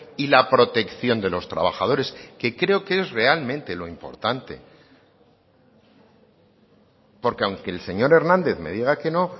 y la protección de los trabajadores que creo que es realmente lo importante porque aunque el señor hernández me diga que no